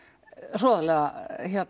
hroðalega